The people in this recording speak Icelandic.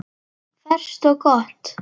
Ferskt og gott.